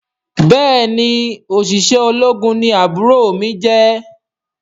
Béèni oṣiṣẹ ológun ní àbúrò mí jẹ.